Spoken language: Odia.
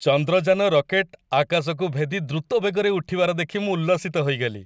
ଚନ୍ଦ୍ରଯାନ ରକେଟ୍ ଆକାଶକୁ ଭେଦି ଦ୍ରୁତ ବେଗରେ ଉଠିବାର ଦେଖି ମୁଁ ଉଲ୍ଲସିତ ହୋଇଗଲି।